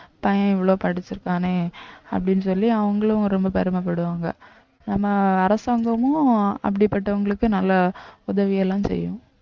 பையன் இவ்வளவு படிச்சிருக்கானே அப்படின்னு சொல்லி அவங்களும் ரொம்ப பெருமைப்படுவாங்க நம்ம அரசாங்கமும் அப்படிப்பட்டவங்களுக்கு நல்லா உதவி எல்லாம் செய்யும்